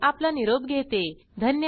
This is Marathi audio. सहभागासाठी धन्यवाद